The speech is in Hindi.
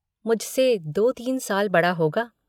मुझसे दो तीन साल बड़ा होगा।